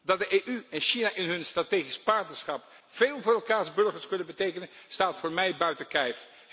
Dat de EU en China in hun strategisch partnerschap veel voor elkaars burgers kunnen betekenen staat voor mij buiten kijf.